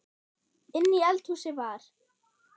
Inni í eldhúsi var